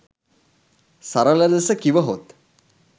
සරල ලෙස කිවහොත්